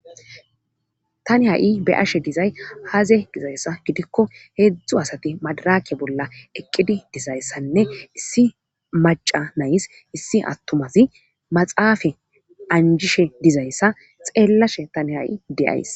Tani ha7i be ashe dizay haaze dizayssa gidikko heedzdzu asati madarake bolla eqqidi dizayssanne issi maca nays issi attumazi maxaafe anjishe dizayssa xeellashe tani ha7i deyays